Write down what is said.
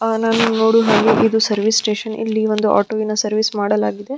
ಆ ನಾನು ನೋಡುವ ಹಾಗೆ ಇದು ಸರ್ವೀಸ್ ಸ್ಟೇಷನ್ ಇಲ್ಲಿ ಒಂದು ಆಟೊವಿನ ವಿನ ಸರ್ವೀಸ್ ಮಾಡಲಾಗಿದೆ .